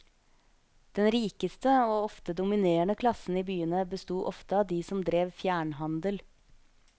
Den rikeste og ofte dominerende klassen i byene bestod ofte av de som drev fjernhandel.